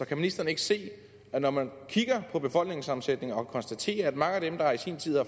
kan ministeren ikke se at når man kigger på befolkningssammensætningen og konstaterer at mange af dem der i sin tid